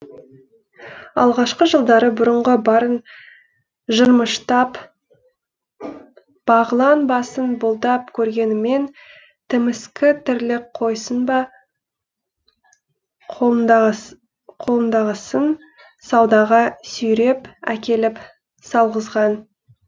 алғашқы жылдары бұрынғы барын жырмыштап бағылан басын бұлдап көргенімен тіміскі тірлік қойсын ба қолындағысын саудаға сүйреп әкеліп салғызған